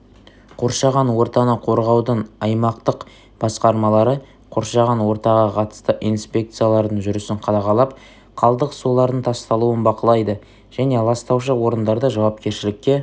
қоршаған ортаны қорғаудың аймақтық басқармалары қоршаған ортаға қатысты инспекциялардың жүрісін қадағалап қалдық сулардың тасталуын бақылайды және ластаушы орындарды жауапкершілікке